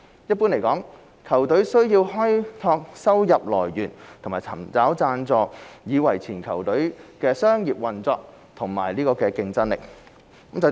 一般而言，球隊需要開拓收入來源和尋找贊助以維持球隊的商業運作和競爭力。